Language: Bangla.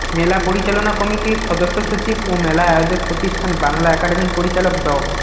মেলা পরিচালনা কমিটির সদস্য সচিব ও মেলা আয়োজক প্রতিষ্ঠান বাংলা একাডেমির পরিচালক ড